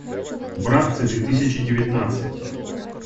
братцы две тысячи девятнадцать